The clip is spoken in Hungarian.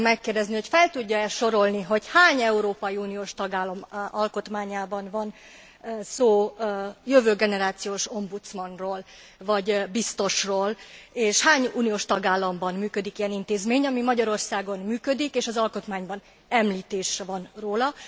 Azt szeretném megkérdezni, hogy fel tudja e sorolni, hogy hány európai uniós tagállam alkotmányában van szó jövő generációs ombudsmanról vagy biztosról, és hány uniós tagállamban működik ilyen intézmény, ami Magyarországon működik és az alkotmányban említés van róla?